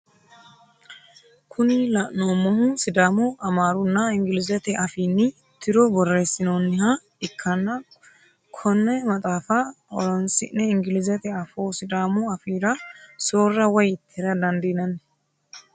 Kuni la'neemohu sidamu, amaarunna ingilizete afiini tiro borreesinoonniha ikkanna kona maxaafa horonsi'ne ingilizete afoo sidaamu afiira soora woyi tira dandiinanni.